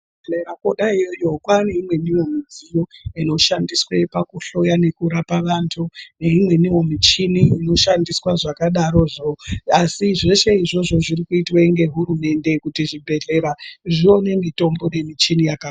Dera kona iyeyo kwane imweni mudziyo inoshandiswa pakuhloya vnekurapa vandu neimweniwo muchini inoshandiswa zvakadarozvo asi zvese izvozvo zviri kuitwa ngehurumende kuti zvibhehlera zvone mutombo nemuchini.